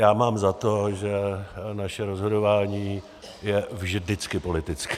Já mám za to, že naše rozhodování je vždycky politické.